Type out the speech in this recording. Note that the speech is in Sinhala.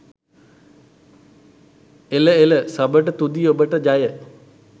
එල එල සබට තුති ඔබට ජය